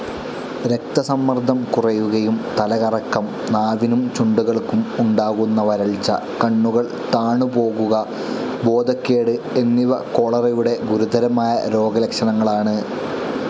രക്തസമ്മർദ്ദം കുറയുകയും തലകറക്കം, നാവിനും ചുണ്ടുകൾക്കും ഉണ്ടാകുന്ന വരൾച്ച, കണ്ണുകൾ താണുപോകുക, ബോധക്കേട് എന്നിവ കോളറയുടെ ഗുരുതരമായ രോഗലക്ഷണങ്ങളാണ്.